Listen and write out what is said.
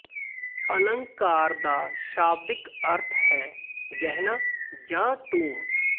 ਅਲੰਕਾਰ ਦਾ ਸ਼ਾਬਦਿਕ ਅਰਥ ਹੈ ਗਹਿਣਾ ਜਾਂ ਟੂਮ